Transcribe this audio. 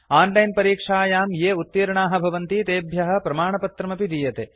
on line परीक्षायां ये उत्तीर्णाः भवन्ति तेभ्यः प्रमाणपत्रमपि दीयते